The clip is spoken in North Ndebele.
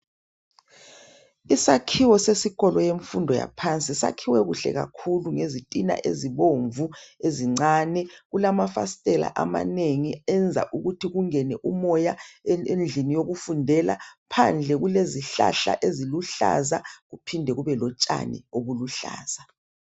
Isakhiwo sesikolo semfundo yaphansi sakhiwe kuhle kakhulu ngezitina ezibomvu ezincane. Kulamafasitela amanengi enza ukuthi kungene umoya endlini yokufundela. Phandle kulezihlahla eziluhlaza kuphinde kube lotshani obuluhlaza.